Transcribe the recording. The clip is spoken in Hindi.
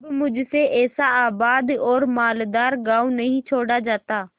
अब मुझसे ऐसा आबाद और मालदार गॉँव नहीं छोड़ा जाता